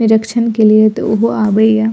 निरक्षण के लिए तो उहो आवइय।